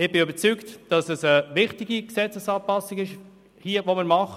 Ich bin überzeugt, dass wir hier eine wichtige Gesetzesanpassung vornehmen.